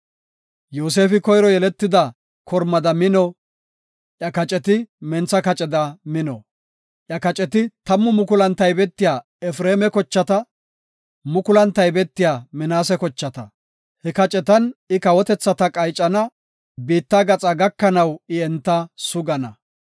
Yoosefi koyro yeletida kormada mino; iya kaceti mentha kaceda mino. Iya kaceti tammu mukulan taybetiya Efreema kochata; mukulun taybetiya Minaase kochata. He kacetan I kawotethata qaycana; biitta gaxaa gakanaw I enta sugana.”